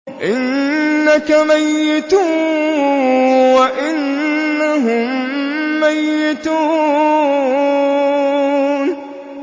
إِنَّكَ مَيِّتٌ وَإِنَّهُم مَّيِّتُونَ